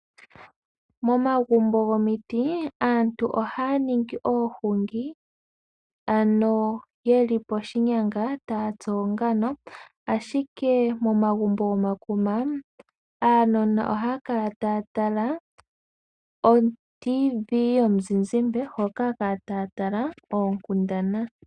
Momagumbo gomiti aantu ohaa ningi oohungi ano ye li poshinyanga taa tsu oongano, ashike momagumbo gomakuma aanona ohaa kala taa tala oradio yomuzizimba hono haa kala taa tala oonkundana.